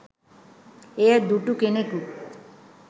එය දුටු කෙනකු